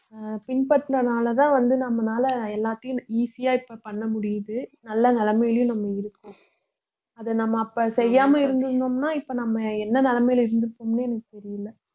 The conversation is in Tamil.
அஹ் பின்பற்றினனாலதான் வந்து நம்மளால எல்லாத்தையும் easy ஆ இப்ப பண்ண முடியுது நல்ல நிலைமையிலயும் நம்ம இருக்கோம் அதை நம்ம அப்ப செய்யாம இருந்திருந்தோம்ன்னா இப்ப நம்ம என்ன நிலைமையில இருந்திருப்போம்ன்னே எனக்கு தெரியலை